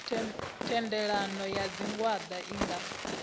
thendelano ya tshigwada i nga